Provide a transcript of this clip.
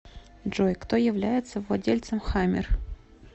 джой кто является владельцем хаммер